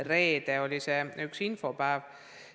Reede oli see üks ja ainus info jagamise päev.